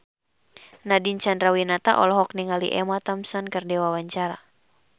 Nadine Chandrawinata olohok ningali Emma Thompson keur diwawancara